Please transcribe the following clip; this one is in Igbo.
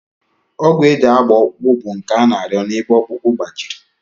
Ọgwụ e ji agba ọkpụkpụ bụ nke a na-arịọ n'ebe ọkpụkpụ gbajiri